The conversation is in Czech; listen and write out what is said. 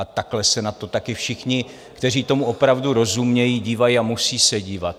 A takhle se na to taky všichni, kteří tomu opravdu rozumějí, dívají a musí se dívat.